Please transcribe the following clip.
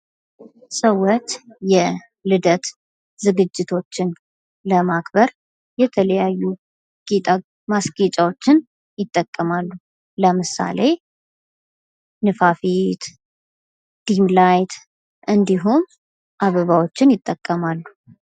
ሰዎች የልደት ዝግጅቶችን ለማክበር የተለያዩ ማስጌጫዎችን ይጠቀማሉ ለምሳሌ ንፋፊት፣ ጅም ላይት እንዲሁም አበባዎችን ይጠቀማሉ።